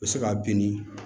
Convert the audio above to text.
U bɛ se ka bin